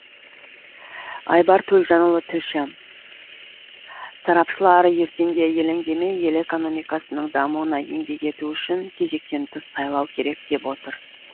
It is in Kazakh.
айбар төлжанұлы тілші сарапшылар ертеңге елеңдемей ел экономикасының дамуына еңбек ету үшін кезектен тыс сайлау керек деп отыр